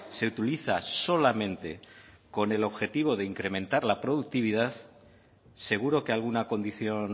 se utiliza solamente con el objetivo de incrementar la productividad seguro que alguna condición